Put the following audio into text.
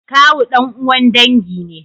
Kawu dan'uwan dangi ne.